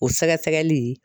O sɛgɛsɛgɛli